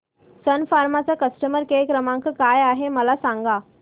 सन फार्मा चा customer care क्रमांक काय आहे मला सांगा